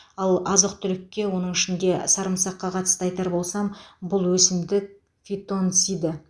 ал азық түлікке оның ішінде сарымсаққа қатысты айтар болсам бұл өсімдік фитонциді